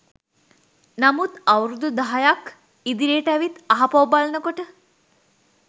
නමුත් අවුරුදු දහයක් ඉදිරියට ඇවිත් ආපහු බලන කොට